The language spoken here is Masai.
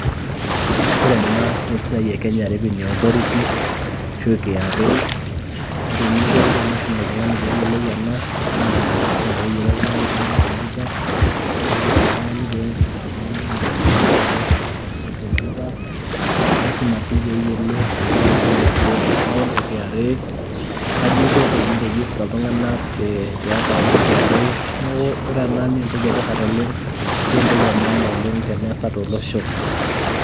ore ena naa esiaai e Kenya Revenue Authority ashu( KRA). ore eninko pisum oltungani peyiolou ena naa lasima peyiolo oltungani aitumia computer ashuaa lasima oltungani piata engeno naihusianare o laptop ashu computer ,lasima si peyiolo ajo kaiko tene create account e KRA, kaji inko teniregister iltunganak te account e KRA, neaku ore ena naa entoki etipat oleng ashu entoki e maana oleng teneasa tolosho.